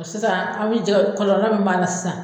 Sisan aw bɛ jɛgɛ, kɔlɔlɔ min b'a la sisan